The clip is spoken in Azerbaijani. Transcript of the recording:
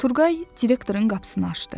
Turqay direktorun qapısını açdı.